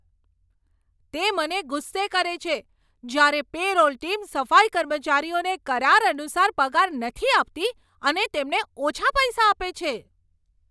તે મને ગુસ્સે કરે છે જ્યારે પે રોલ ટીમ સફાઈ કર્મચારીઓને કરાર અનુસાર પગાર નથી આપતી અને તેમને ઓછા પૈસા આપે છે.